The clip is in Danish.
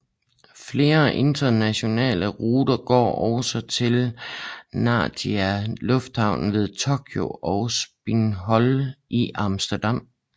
Flere internationale ruter går også til Narita lufthavnen ved Tokyo og Schiphol i Amsterdam